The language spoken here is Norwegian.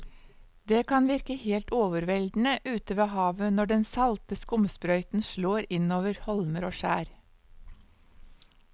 Det kan virke helt overveldende ute ved havet når den salte skumsprøyten slår innover holmer og skjær.